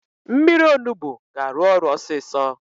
Mmiri Onugbu ga-arụ ọrụ ọsịsọ